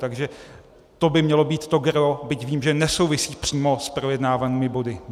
Takže to by mělo být to gros, byť vím, že nesouvisí přímo s projednávanými body.